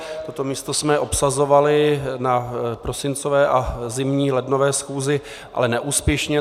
Toto místo jsme obsazovali na prosincové a zimní lednové schůzi, ale neúspěšně.